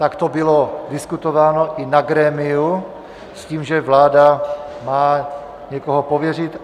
Tak to bylo diskutováno i na grémiu s tím, že vláda má někoho pověřit.